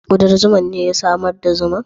Kudan zuman ne ya samar da zuman?